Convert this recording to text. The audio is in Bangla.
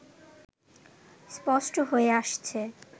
স্পষ্ট হয়ে আসছে